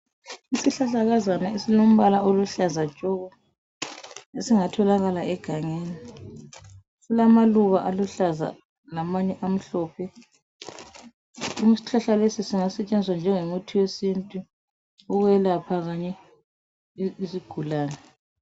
Isihlahlakazana esilombala oluhlaza tshoko, esingatholakala egangeni. Silamaluba aluhlaza lamanye amhlophe. Singasetshenziswa njengomuthi wesintu ukwelapha izigulane.